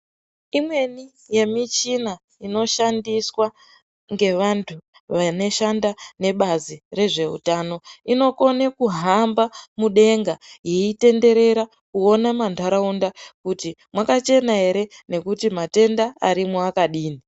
Imweni yemichina inoshandiswa ngevantu vanoshanda nebazi rezveutano inokone kuhamba mudenga yeitenderera kuona mantaraunda kuti mwakachena ere nekuti matenda arimwo akadini.